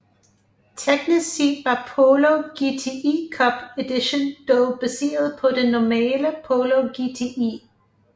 Teknisk set var Polo GTI Cup Edition dog baseret på den normale Polo GTI